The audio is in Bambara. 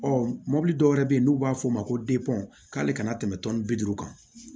Ɔ mobili dɔ wɛrɛ bɛ yen n'u b'a fɔ o ma ko k'ale kana tɛmɛ tɔnni bi duuru kan